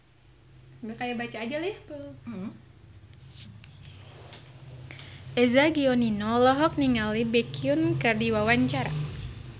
Eza Gionino olohok ningali Baekhyun keur diwawancara